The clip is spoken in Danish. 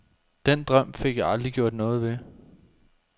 Den drøm fik jeg aldrig gjort noget ved.